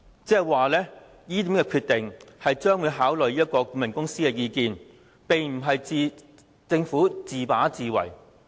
言下之意，這個決定考慮了顧問公司的意見，並非政府自把自為。